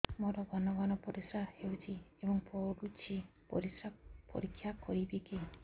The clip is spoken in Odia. ମୋର ଘନ ଘନ ପରିସ୍ରା ହେଉଛି ଏବଂ ପଡ଼ୁଛି ପରିସ୍ରା ପରୀକ୍ଷା କରିବିକି